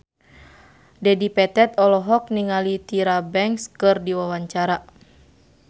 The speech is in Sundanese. Dedi Petet olohok ningali Tyra Banks keur diwawancara